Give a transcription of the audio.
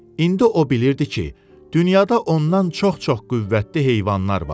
İndi o bilirdi ki, dünyada ondan çox-çox qüvvətli heyvanlar var.